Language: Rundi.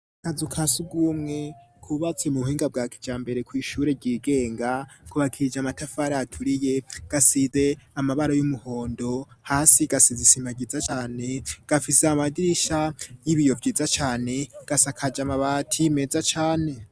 Akazu kasugumwe kubatse mu buhinga bwa kijambere kw'ishure ryigenga, kubakishije amatafari aturiye, gasize amabara y'umuhondo, hasi gasize isima ryiza cane, gafise amadirisha y'ibiyo vyiza cane, gasakaje amabati meza cane.